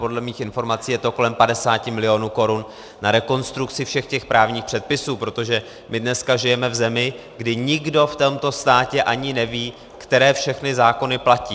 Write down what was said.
Podle mých informací je to kolem 50 milionů korun na rekonstrukci všech těch právních předpisů, protože my dneska žijeme v zemi, kdy nikdo v tomto státě ani neví, které všechny zákony platí.